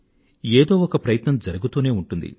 ఏదో ఒక ప్రయత్నం జరుగుతూనే ఉంటుంది